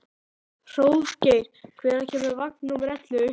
Hróðgeir, hvenær kemur vagn númer ellefu?